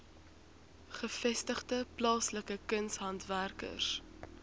gevestigde plaaslike kunshandwerkers